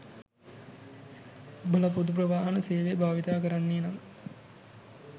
ඔබල පොදු ප්‍රවාහන සේවය භාවිතා කරන්නේ නම්